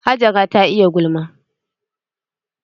Hajara ta iya gulma.